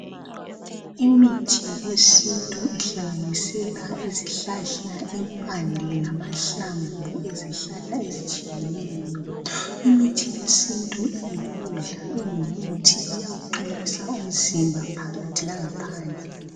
imithi yesintu ihlanganisela izihlahla impande lamahlamvu ezihlahla ezitshiyeneyo imkithi yesintu iyikudla ingumuthi iyakwu qinisa umzimba phakathi langa phandle